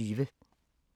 DR2